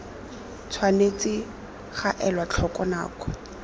tshwanetse ga elwa tlhoko nako